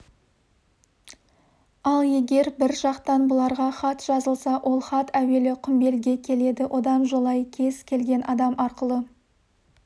ал егер бір жақтан бұларға хат жазылса ол хат әуелі құмбелге келеді одан жолай кез келген адам арқылы